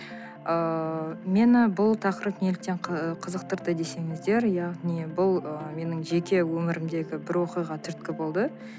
ыыы мені бұл тақырып неліктен қызықтырды десеңіздер иә не бұл ы менің жеке өмірімдегі бір оқиға түрткі болды